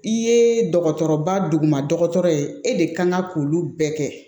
I ye dɔgɔtɔrɔba duguma dɔgɔtɔrɔ ye e de kan ka k'olu bɛɛ kɛ